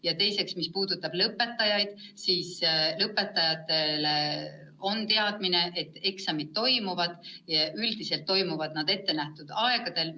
Ja teiseks, mis puudutab lõpetajaid, siis nad teavad, et eksamid toimuvad, ja üldiselt toimuvad ka ette nähtud ajal.